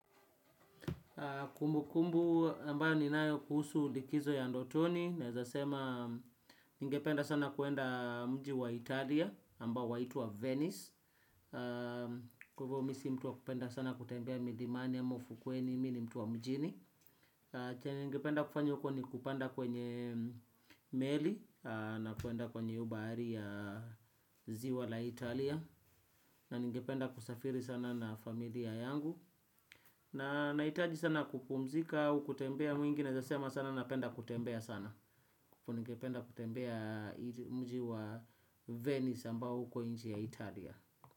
Kumbu kumbu ambayo ni nayo kuhusu likizo ya ndotoni naeza sema ningependa sana kuenda mji wa Italia ambao waitwa Venice. Kwahivo misi mtu wa kupenda sana kutembea milimani ya ufukweni mini mtu wa mjini. Chenye ningependa kufanya huko ni kupanda kwenye meli na kuenda kwenye hio bahari ya zi wala Italia. Na ningependa kusafiri sana na familia yangu. Na hitaji sana kupumzika au kutembea mwingi naezasema sana. Napenda kutembea sana alafu ningependa kutembea. Mjiwa venis ambao uko nchi ya Italia.